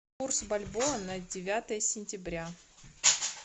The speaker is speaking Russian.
курс бальбоа на девятое сентября